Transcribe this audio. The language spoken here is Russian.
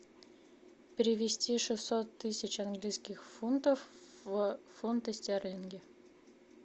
перевести шестьсот тысяч английских фунтов в фунты стерлинги